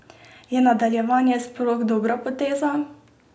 Je nadaljevanje sploh dobra poteza?